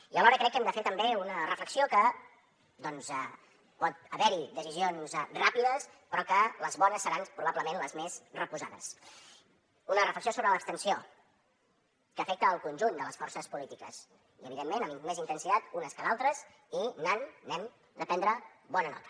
i alhora crec que hem de fer també una reflexió que doncs pot haver hi decisions ràpides però que les bones seran probablement les més reposades una reflexió sobre l’abstenció que afecta el conjunt de les forces polítiques i evidentment amb més intensitat unes que d’altres i n’han n’hem de prendre bona nota